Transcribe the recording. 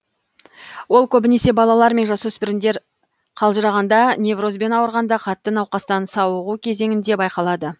ол көбінесе балалар мен жасөспірімдер қалжырағанда неврозбен ауырғанда қатты науқастан сауығу кезеңінде байқалады